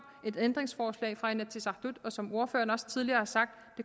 et ændringsforslag fra inatsisartut og som ordføreren også tidligere har sagt